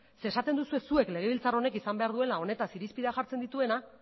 zeren esaten duzue zuek legebiltzar honek izan behar duela honetaz irizpideak jartzen dituena